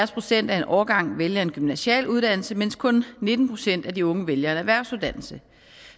procent af en årgang vælger en gymnasial uddannelse mens kun nitten procent af de unge vælger en erhvervsuddannelse